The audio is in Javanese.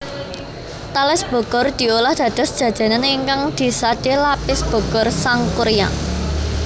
Tales Bogor diolah dados jajanan ingkang disade Lapis Bogor Sangkuriang